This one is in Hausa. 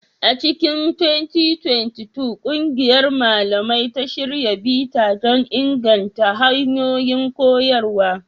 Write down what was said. A cikin 2022, ƙungiyar malamai ta shirya bita don inganta hanyoyin koyarwa.